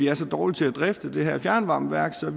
er så dårlige til at drifte det her fjernvarmeværk at